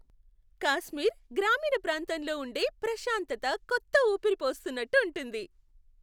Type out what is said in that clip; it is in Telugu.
కాశ్మీర్ గ్రామీణ ప్రాంతంలో ఉండే ప్రశాంతత కొత్త ఊపిరి పోస్తున్నట్టు ఉంటుంది.